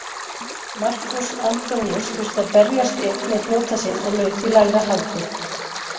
Markús Antoníus þurfti að berjast einn með flota sinn og laut í lægra haldi.